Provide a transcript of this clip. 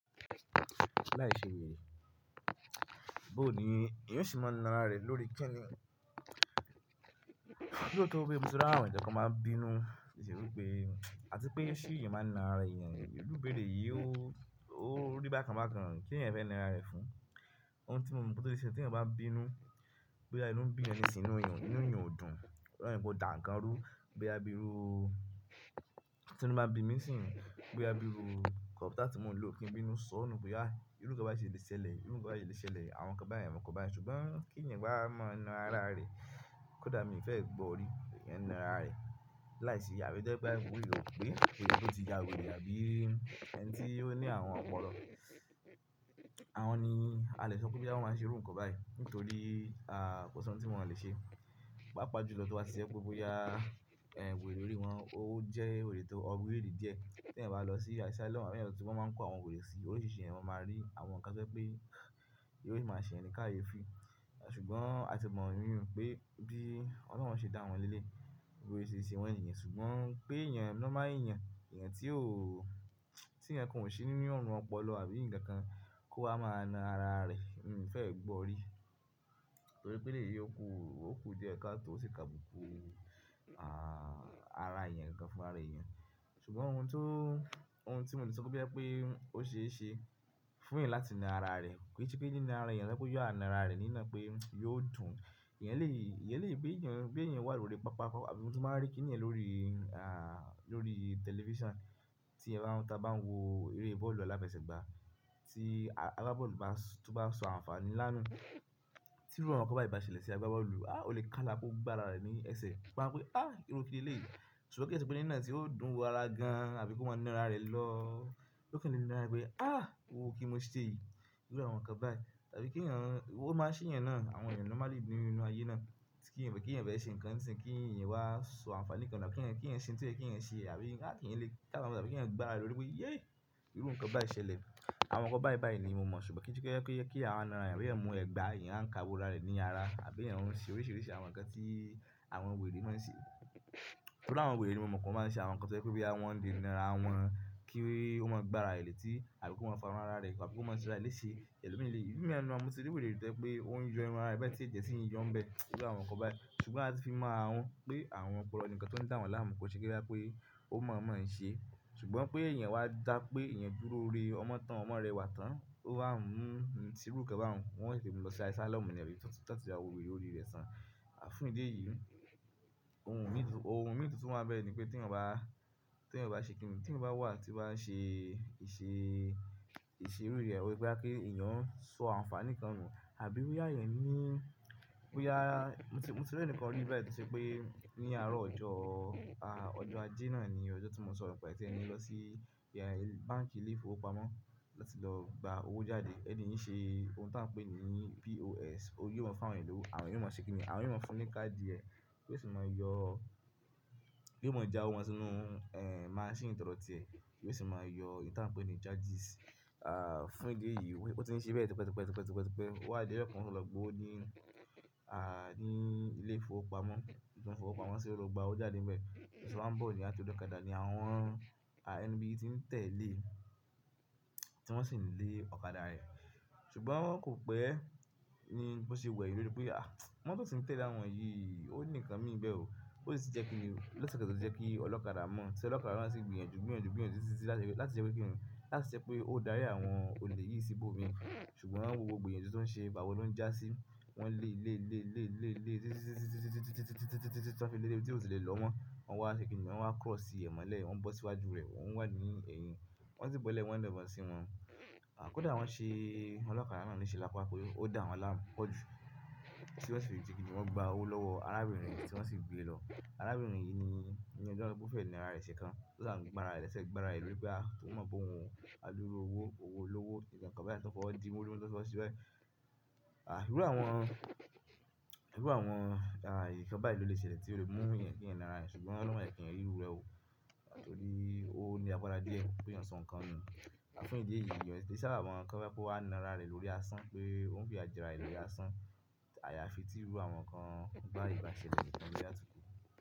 Láìṣe were bó ní èèyàn o ṣe máa ń na ara rẹ̀ lórí kíni. Bí ó tó wí, mo ti rí àwọn ẹ̀yàn tí wọn máa ń bínú, ìṣe wípé, àti pé ṣú ìyẹn máa ń na ara èèyàn. Irú ìbéèrè yìí ó rí bákan bákan, kí èèyàn fẹ́ na ara rẹ̀ fún? Ohun tí mo mọ̀ pé tó lè ṣe, tí èèyàn bá bínú, bóyá inú ń bí èèyàn ísìn inú èèyàn ò dùn. Leyin kò dà nkanrú, bóyá bí irú, tí inú bá bi mí ni si, bóyá bí irú kọ̀pútà tí mò ń lò kí ń bínú sọ nù pé, "à, irú nǹkan báyìí ṣe lè ṣẹlẹ̀, irú nǹkan báyìí lè ṣẹlẹ̀, àwọn nǹkan báyìí, àwọn nǹkan báyìí." ṣùgbọ́n kí èèyàn bá mọ̀ na ara rẹ̀, kò dà mí ì fẹ́ gbọ́ orí, èèyàn na ara rẹ̀. Láìsí abi ẹ̀niti orire o pé ó ti ya wèrè àbí ẹni tí ó ní àrun ọpọlọ. Àwọn ni a lè sọ pé bí àwọn máa ń ṣe irú nǹkan báyìí nítorí, ah, kò sí ohun tí wọ́n lè ṣe. Pápá jù lọ tí wá ṣe ẹ pé bóyá, ẹ, wèrè lórí wọn, ó jẹ́ wèrè tó ọgbèèrè díẹ̀. Tí èèyàn bá lọ sí áìsà lọ́mú, àwọn èèyàn tí wọ́n máa ń kó àwọn wèrè sí, oríṣìíríṣìí èèyàn máa rí àwọn nǹkan pé pé irú ìjà ṣe ẹnì ká ye fi. Ṣùgbọ́n a ti mọ̀ nínú pé bí oloun ṣe dá wọn lé lé, bi ose ṣe wọn níyẹn. Ṣùgbọ́n pé èèyàn normal èèyàn, èèyàn tí ó, tí èèyàn kò ṣe ní inú ọ̀nà ọpọlọ àbí ǹkan kan kó ha máa na ara rẹ̀, mí ò fẹ́ gbọ́ orí. To ri pé ele yi o kú, ó kú díẹ̀ ká tó o sì ka buku, ah, ara èèyàn gan fún ara èèyàn. Ṣùgbọ́n ohun tó, ohun tí mò ti sọ pé pé ó ṣe é ṣe fún èèyàn láti na ara rẹ̀, kí kò yẹ kí èèyàn na ara rẹ̀, ni ina pé yóò dùn. Ìyẹn lè, ìyẹn lè gbé èèyàn, gbé èèyàn wá lórí pápákọ̀, àbí ohun tí mo máa rí kí èèyàn lórí, ah, lórí tẹlifíṣàn tí èèyàn bá ń tà bá ń wo eré bọ́ọ̀lù aláfẹsẹ̀gba tí agbábọ́ọ̀lù bá sọ àǹfààní ńlá nù. Tí irú nǹkan báyìí bá ṣẹlẹ̀ sí agbábọ́ọ̀lù, ah, ó lè kálá kó gbá ara rẹ̀ ní ẹsẹ̀. Ó máa ń pe, "ah, irú kíni léyìí?" ṣùgbọ́n kí ẹ to pé ní ìná tí ó dùn wò ara gan àbí kó máa na ara rẹ̀ lọ́, yóò fẹ́ le na ara rẹ̀ pé, "ah, owó kí n mo ṣe èyí?" Irú àwọn nǹkan báyìí. Àbí kí èèyàn, ó máa ṣe èèyàn náà, àwọn èèyàn normal ìbínú inú ayé náà. Kí èèyàn kí èèyàn fẹ́ ṣe ǹkan ni isin, kí èèyàn wá sọ àǹfààní kan nu, kí èèyàn ṣe ohun tí ko ye ki eèyàn ṣe àbí kí èèyàn lè kálá pé kí èèyàn gbá ara rẹ̀ lórí pé, "yé, irú nǹkan báyìí ṣẹlẹ̀." Àwọn nǹkan báyìí báyìí ni mo mọ̀, ṣùgbọ́n kí n tó sọ pé kí àwọn na ara rẹ̀, pé èèyàn mú ẹ̀gbà yẹn ń kawo ara rẹ̀ ní ara àbí èèyàn ń ṣe oríṣìíríṣìí àwọn nǹkan tí àwọn wèrè máa ń ṣe. Tori àwọn wèrè ni mo mọ̀ pé wọ́n máa ń ṣe àwọn nǹkan toje pé wọn lè na ara wọn kí ó máa gbá ara rẹ̀ létí àbí kó máa fàrun ara rẹ̀ kọ́ àbí kó máa se ara rẹ̀ léṣe. Eló mi le, mo tí rí wèrè to je pé ó yo irun ara rẹ̀ bẹ́ẹ̀ tí eje ṣi yó ńibẹ, irú àwọn nǹkan báyìí. Ṣùgbọ́n a ti fi mọ àwọn pé àwọn kò rọ nǹkan tó ń dà wọn láàmú, kò ṣe kí ó dá pé ó mọ̀ ọ́n mọ̀ ọ́n ṣe. Ṣùgbọ́n pé èèyàn wá dá pé èèyàn dúró rè ọmọ tán, ọmọ rẹ̀ wà tán, ó bá ń mú ohun tirú kẹ́ba wọn, wọ́n yẹ fẹ́ mú lọ sí áìsà lọ́mú nìyẹn rí, tọ̀tọ̀ tí a wòlíì lórí rẹ̀ tán. À fún ìdí èyí, ohun mi tún, ohun mi tún tó máa bẹ́ẹ̀ ni pé tí èèyàn bá, tí èèyàn bá ṣe kìnì? Tí èèyàn bá wà tí ó bá ń ṣe ìṣe, ìṣe irú rẹ̀ wípé kí èèyàn sọ àǹfààní kan nù àbí bóyá èèyàn ní, bóyá mo ti rí ẹnìkan rí bẹ́ẹ̀ tẹ́ je pé ní àárọ̀ ọjọ́, ah, ọjọ́ ajé náà ni ọjọ́ tí mo sọ rọ̀ pé tí ẹni lọ sí, ẹ, báǹkì ilé ìfowópamọ́ láti lọ gba owó jáde. Ẹni yín ṣe ohun tí wọ́n ń pè ní POS, ó yóò máa ń fún àwọn ènìyàn lówó, àwọn èèyàn ó máa ń ṣe kìnìún, àwọn èèyàn fún ní káàdì ẹ kí ó sì máa yọ, yóò máa já owó sínú, ẹ, maṣínì ìtọrọ ti ẹ kí ó sì máa yọ ìtàn pé ni charges, ah, fún ìdí èyí. Ó ti ń ṣe bẹ́ẹ̀ tipẹ́ tipẹ́ tipẹ́ tipẹ́ tipẹ́ o wá di ọjọ́ kan o lọ gba ówo ní, à, ní ilé ìfowópamọ́, ilé ìfowópamọ́ ṣe ó lọ gba owó jáde níbẹ̀. Ṣé wọn ń bọ̀ ní àti ó dé ọ̀kadà ni àwọn, ah, ẹni bí i tí ń tẹ̀lé tí wọ́n sì ń lé ọ̀kadà rẹ̀. Ṣùgbọ́n kò pẹ́ ní bó ṣe wẹ̀ yin lórí pé, ah, mọ́tò tí o ń tẹ̀lé àwọn yìí ó ní ǹkan mi níbẹ̀ o. Ó sì ti jẹ́ kíni lóṣù kẹta tí ó jẹ́ kí ọlọ́kadà mọ̀, ṣe ọlọ́kadà náà sì gbìyànjú gbìyànjú gbìyànjú títí láti ṣe pé kíni, láti ṣe pé ó dárí àwọn olè yìí sí ibòmíràn. Ṣùgbọ́n wọ́n wo gbogbo èèyàn tí wọ́n ṣe, pabó lo ń jásí, wọ́n lé lé lé lé lé lé títí tí wọ́n fi lé lé tí wọ́n sì lè lọ́mo Wọ́n wá ṣe kíni, wọ́n wá kọ̀ sí ẹ̀ mọ́lẹ̀, wọ́n bọ́ síwájú rẹ̀, wọ́n wà ní ẹ̀yìn, wọ́n sì bọ́lẹ̀ wọ́n na ibon sí wọn. À kódà wọ́n ṣe, ọlọ́kadà náà ló ṣe lápá kó yọ, ó dà wọ́n láàmú pọ̀ jù. Kí ó sì wá fi rí tí kíni wọ́n gba owó lọ́wọ́ arábìnrin yìí tí wọ́n sì gbé e lọ. Arábìnrin yìí ni ẹni tí wọ́n fẹ́ na ara rẹ̀ ṣe kan. Ó dà wọ́n gba ara rẹ̀ lẹ́sẹ̀, gba ara rẹ̀ lórí pé a, kí wọ́n mọ̀ bóhùn, a dúró owó, owó lówó, ǹkan kan báyìí tí wọ́n fọ́ diwọ́lú lọ́wọ́ sí wá. Ah, irú àwọn, irú àwọn, ah, nnkan báyìí ló lè ṣẹlẹ̀ tí ó lè mú ẹ̀yàn kí ẹ̀yàn na ara rẹ̀ ṣùgbọ́n lọ́wọ.